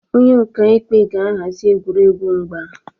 Onye ọka ikpe ga-ahazi egwuregwu mgba